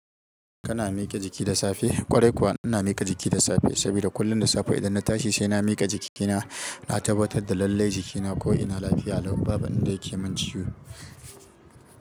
Kana miƙa jiki da safe? Kwarai kuwa ina miƙa jiki da safe saboda kullum da safe idan na tashi sai na miƙa jikina, na tabbatar da lallai jikina ko ina lafiya ko babu abinda yake min ciwo.